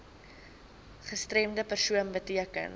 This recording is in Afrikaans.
gestremde persoon beteken